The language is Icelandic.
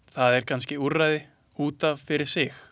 Það er kannske úrræði út af fyrir sig.